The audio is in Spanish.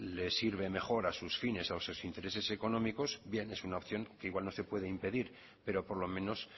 les sirve mejor a sus fines a sus intereses económicos bien es una opción que igual no se puede impedir pero por lo menos